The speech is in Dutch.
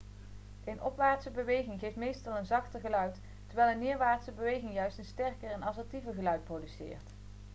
een opwaartse beweging geeft meestal een zachter geluid terwijl een neerwaartse beweging juist een sterker en assertiever geluid produceert